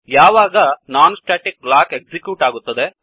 ಯಾವಾಗ non static block execute ಆಗುತ್ತದೆ